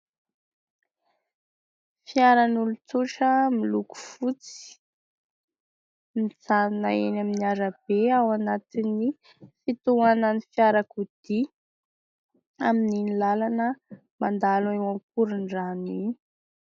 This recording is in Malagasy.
Fiaran'olon-tsotra miloko fotsy, mijanona eny amin'ny arabe ao anatin'ny fitohanan'ny fiarakodia amin'iny làlana mandalo eo Akorondrano iny.